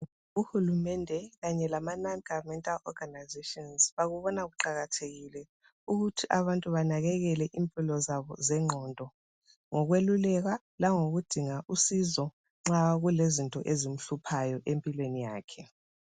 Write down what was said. Uhulumende kanye lama non governmental organizations ,bakubona kuqakathekile ukuthi abantu banakekele impilo zabo zengqondo .Ngokwelulekwa langokudinga usizo nxa kulezinto ezimhluphayo empilweni yakhe .